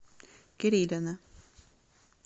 кирилина